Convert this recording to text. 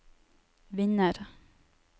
vinner